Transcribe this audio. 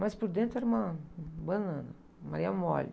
Mas por dentro era uma banana, maria-mole!